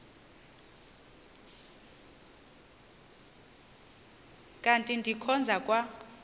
kanti ndikhonza kwa